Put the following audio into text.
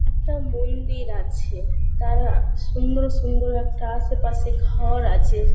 একটা মন্দির আছে। তার সুন্দর সুন্দর একটা আশেপাশে ঘর আছে।